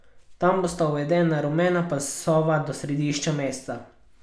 Tam bosta uvedena rumena pasova do središča mesta.